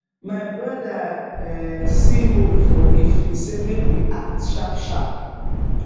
my brother um see hole for leaf e say make we act sharpsharp